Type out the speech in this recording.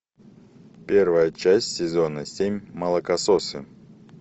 первая часть сезона семь молокососы